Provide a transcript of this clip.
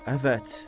Əfvət.